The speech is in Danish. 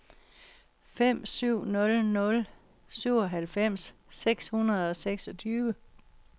fem syv nul nul syvoghalvfems seks hundrede og seksogtyve